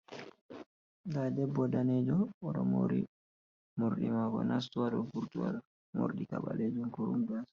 Nɗa debbo danejo oɗo mori mordi mako nastu hado vurtu ha ɗow mordi ka ɓalejun kurum gas.